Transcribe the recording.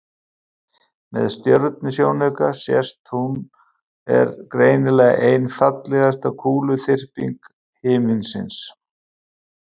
með stjörnusjónauka sést að hún er greinilega ein fallegasta kúluþyrping himinsins